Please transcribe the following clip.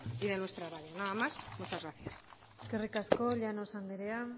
y de nuestra radio nada más muchas gracias eskerrik asko llanos anderea